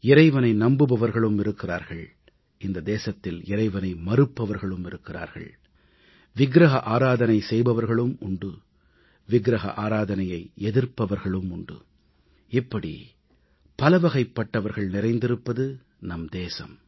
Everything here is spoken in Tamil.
இறைவனை நம்புபவர்களும் இருக்கிறார்கள் இந்த தேசத்தில் இறைவனை மறுப்பவர்களும் இருக்கிறார்கள் சிலை வழிபாடு செய்பவர்களும் உண்டு சிலை வழிபாட்டை எதிர்ப்பவர்களும் உண்டு இப்படி பலவகைப் பட்டவர்கள் நிறைந்திருப்பது நம் தேசம்